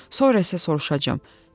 Sonra isə soruşacağam: